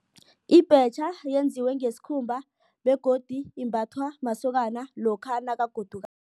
Ibhetjha yenziwe ngesikhumba begodu imbathwa masokana lokha